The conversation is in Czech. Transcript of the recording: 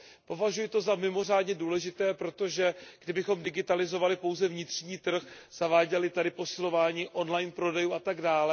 Považuji to za mimořádně důležité, protože kdybychom digitalizovali pouze vnitřní trh, zaváděli tady posilování online prodejů atd.,